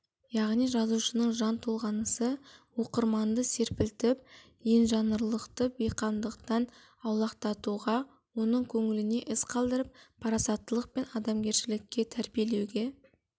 яғни жазушының жан толғанысы оқырманды серпілтіп енжанрлықтан бейқамдықтан аулақтатуға оның көңілінде із қалдырып парасаттылық пен адамгершілікке тәрбиелеуге